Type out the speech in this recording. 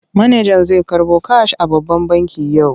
Manajan zai karɓo kash a babban banki yau.